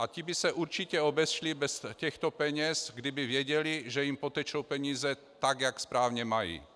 A ti by se určitě obešli bez těchto peněz, kdyby věděli, že jim potečou peníze tak, jak správně mají.